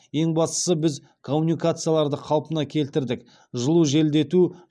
ең бастысы біз коммуникацияларды қалпына келтірдік жылу желдету